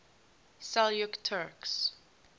seljuk turks